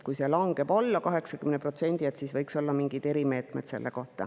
Kui see langeb alla 80%, siis selleks võiks olla mingid erimeetmed.